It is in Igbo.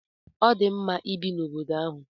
Ọ dị mma ibi n'obodo ahụ.